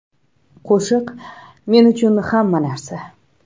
Qo‘shiq men uchun hamma narsa.